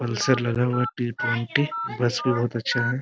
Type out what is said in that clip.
Pulsar लगा हुआ है टी ट्वेंटी बस बहुत अच्छा है।